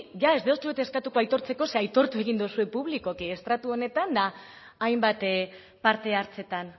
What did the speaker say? ja ez dizuet eskatuko aitortzeko ze aitortu egin duzue publikoki estradu honetan eta hainbat parte hartzetan